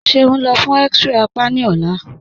Ṣe o nlọ́ fun x-ray àpá ni ọ̀là?